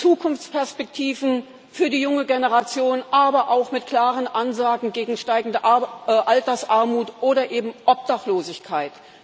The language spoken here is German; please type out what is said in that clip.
Mit Zukunftsperspektiven für die junge Generation, aber auch mit klaren Ansagen gegen steigende Altersarmut oder eben Obdachlosigkeit.